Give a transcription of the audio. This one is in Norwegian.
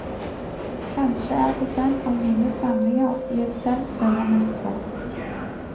Kanskje er det den av mine samlinger jeg selv føler mest for.